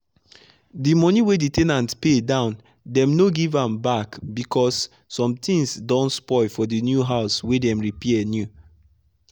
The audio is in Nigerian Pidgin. the money wey the ten ant pay downdem no give am backbecause some things don spoil for the new house wey dem repair new.